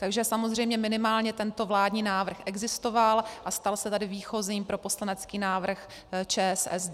Takže samozřejmě minimálně tento vládní návrh existoval a stal se tedy výchozím pro poslanecký návrh ČSSD.